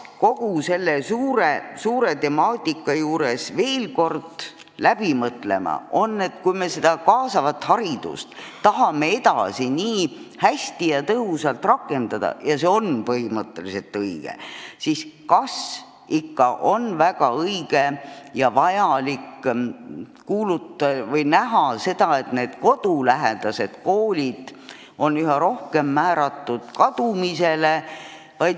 Kogu selle laia temaatika puhul peaks veel kord läbi mõtlema, et kui me kaasavat haridust tahame edasi tõhusalt rakendada – ja see on põhimõtteliselt õige –, siis kas ikka on väga õige ja vajalik üha enam määrata kodulähedased koolid kadumisele.